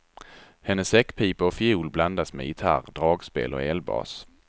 Hennes säckpipa och fiol blandas med gitarr, dragspel och elbas.